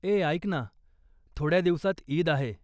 ए. ऐक ना, थोड्या दिवसात ईद आहे.